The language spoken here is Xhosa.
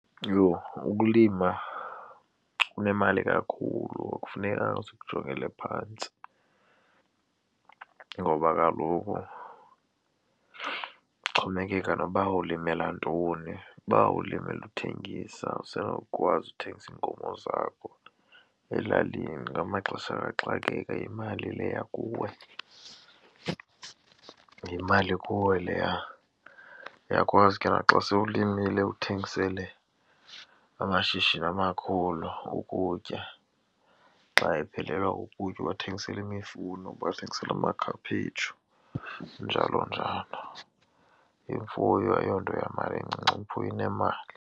Yho! Ukulima kunemali kakhulu akufunekanga sikujongele phantsi ngoba kaloku kuxhomekeka noba ulimela ntoni. Uba ulimela uthengisa usenokwazi uthengisa iinkomo zakho elalini kuba ngamaxesha kaxakeka yimali leya kuwe, yimali kuwe leya. Uyakwazi ke naxa sewulimile uthengisele amashishini amakhulu ukutya xa ephelelwa kukutya ubathengisela imifuno, ubathengisele amakhaphetshu njalo-njalo. Imfuyo ayonto yamali incinci, imfuyo inemali.